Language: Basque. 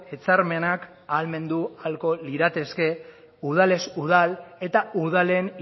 hitzarmenak ahalmendu ahalko lirateke udalez udal eta udalen